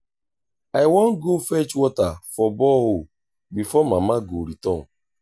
i wan go fetch water for borehole before mama go return